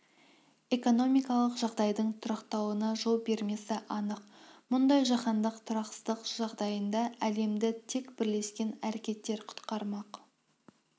экономикалық жағдайдың тұрақталуына жол бермесі анық мұндай жаһандық тұрақсыздық жағдайында әлемді тек бірлескен әрекеттер құтқармақ